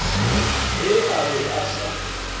ge a be a sa